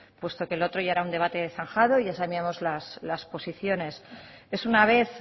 puesto que lo otro ya era un debate zanjado y ya sabíamos las posiciones es una vez